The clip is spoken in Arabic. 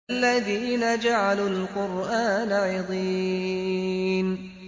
الَّذِينَ جَعَلُوا الْقُرْآنَ عِضِينَ